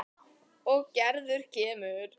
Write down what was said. Og Gerður kemur.